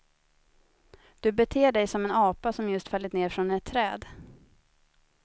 Du beter dig som en apa som just fallit ned från ett träd.